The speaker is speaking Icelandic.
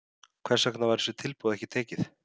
Hvers vegna var þessu tilboði ekki tekið?